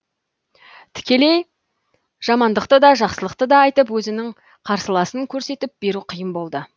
тікелей жамандықты да жақсылықты да айтып өзінің қарсыласын көрсетіп беру қиын болды